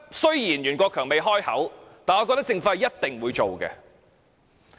雖然袁國強司長未開口，但我覺得政府一定會上訴。